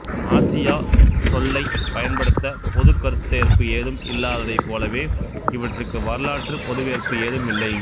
Asia சொல்லைப் பயன்படுத்த பொதுக் கருத்தேற்பு ஏதும் இல்லாத்தைப் போலவே இவற்றுக்கு வரலாற்றுப் பொதுவேற்பு ஏதும் இல்லை